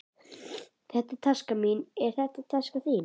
Þetta er taskan mín. Er þetta taskan þín?